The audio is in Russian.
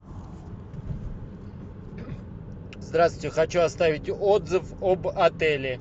здравствуйте хочу оставить отзыв об отеле